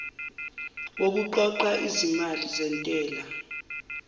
wokuqoqa izimali zentela